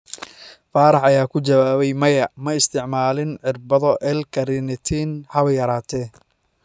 Faarax ayaa ku jawaabay: "Maya, ma isticmaalin irbado L-carnitine haba yaraatee."